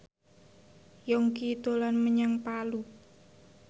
Yongki dolan menyang Palu